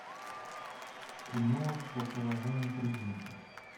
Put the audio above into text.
кино по половому признаку